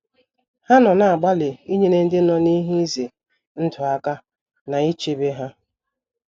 Ha nọ na - agbalị inyere ndị nọ n’ihe ize ndụ aka na ichebe ha.